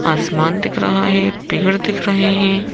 आसमान दिख रहा है पेड़ दिख रहे हैं।